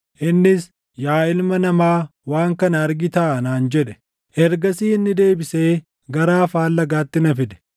Innis, “Yaa ilma namaa, waan kana argitaa?” naan jedhe. Ergasii inni deebisee gara afaan lagaatti na fide.